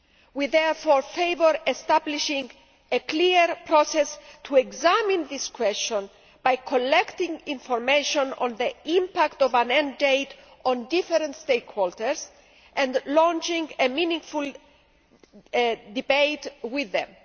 We therefore favour establishing a clear process to examine this question, by collecting information on the impact of an end date on different stakeholders and launching a meaningful debate with them.